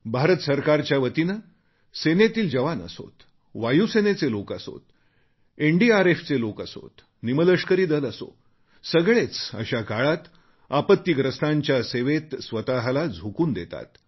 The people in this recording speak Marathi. भारत सरकारच्या वतीने सेनेतील जवान असोत वायूसेनेचे लोक असोत एनडीआरएफचे लोक असोत निमलष्करी दल असो सगळेच अशा काळात आपत्तीग्रस्तांच्या सेवेत स्वतला झोकून देतात